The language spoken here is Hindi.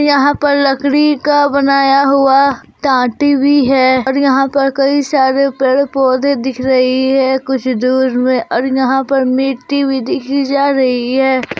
यहां पर लकड़ी का बनाया हुआ टाटी भी है और यहां पर कई सारे पेड़ पौधे दिख रही है कुछ दूर में और यहां पर मिट्टी भी दिखी जा रही है।